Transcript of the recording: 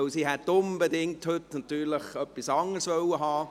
Dem war nicht so, weil sie natürlich unbedingt etwas anderes hätte tun wollen.